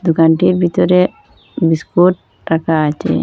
দোকানটির বিতরে বিস্কুট রাকা আচে।